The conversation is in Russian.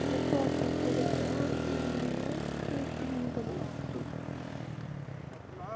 доклад на политологии немецкий и английский